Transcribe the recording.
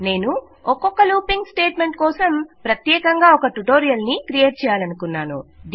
నేను ఒక్కొక్క looping statement కోసం ప్రత్యేకంగా ఒక ట్యుటోరియల్ ని క్రియేట్ చేయనున్నాను